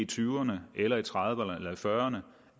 tyverne eller i trediverne eller i fyrrerne